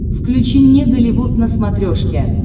включи мне голливуд на смотрешке